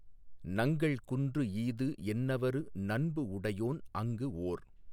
நங்கள் குன்று ஈது என்னவரு நண்புஉடையோன் அங்கு ஓர்.